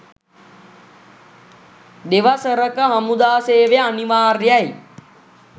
දෙවසරක හමුදා සේවය අනිවාර්යයි.